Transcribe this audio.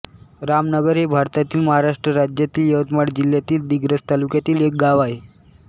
रामनगर हे भारतातील महाराष्ट्र राज्यातील यवतमाळ जिल्ह्यातील दिग्रस तालुक्यातील एक गाव आहे